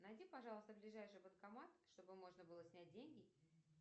найди пожалуйста ближайший банкомат чтобы можно было снять деньги